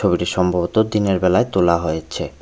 ছবিটি সম্ভবত দিনের বেলায় তোলা হয়েছে।